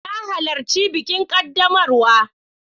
Na halarci bikin ƙaddamarwa.